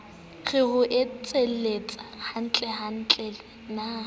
re ho etsahalang hantlentle na